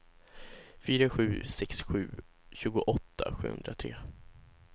fyra sju sex sju tjugoåtta sjuhundratre